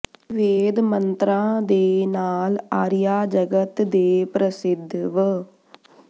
ਵੇਦ ਮੰਤਰਾਂ ਦੇ ਨਾਲ ਆਰੀਆ ਜਗਤ ਦੇ ਪ੍ਰਸਿੱਧ ਵ